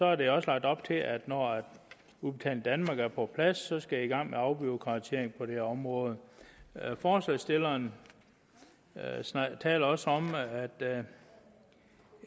er der også lagt op til at når udbetaling danmark er på plads skal man i gang med afbureaukratisering på det her område forslagsstillerne taler også om